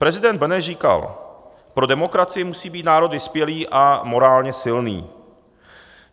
Prezident Beneš říkal: Pro demokracii musí být národ vyspělý a morálně silný.